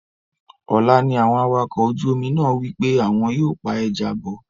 Ọ̀la ni àwọn awakọ̀ ojú omi náà wí pé àwọn yóò pa ẹja bọ̀